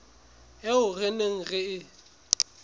eo re neng re e